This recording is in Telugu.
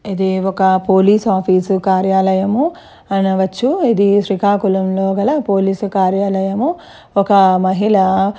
ఇది ఒక పోలీసు ఆఫీస్ కార్యాలయము అనవచ్చు ఇది శ్రీకాకుళం లో గల పోలీస్ కార్యాలయము ఒక మహిళ --